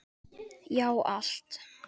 Já, allt.